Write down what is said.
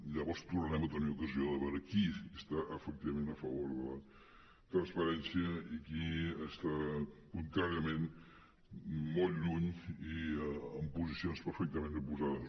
llavors tornarem a tenir ocasió de veure qui està efectivament a favor de la transparència i qui està contràriament molt lluny i en posicions perfectament oposades